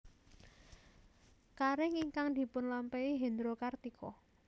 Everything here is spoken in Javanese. Karir ingkang dipunlampahi Hendro Kartiko